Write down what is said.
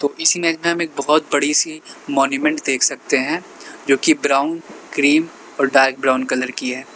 तो इस इमेज में हम एक बोहोत बड़ी सी मॉन्यूमेंट देख सकते हैं जो कि ब्राउन क्रीम और डार्क ब्राउन कलर की है।